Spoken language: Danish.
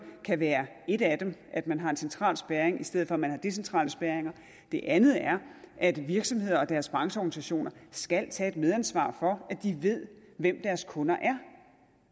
kan være et af dem at man har en central spærring i stedet for at man har decentrale spærringer det andet er at virksomheder og deres brancheorganisationer skal tage medansvar for at de ved hvem deres kunder er